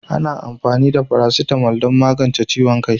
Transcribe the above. Ana amfani da paracetamol don magance ciwon kai.